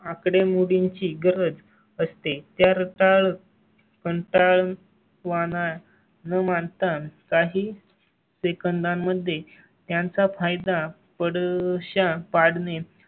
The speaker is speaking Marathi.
आकडेमोडींची गरज असते त्याचा रताळ पण तळ वाण आहे न मानता काही सेकंदांमध्ये त्यांचा फायदा पण अशा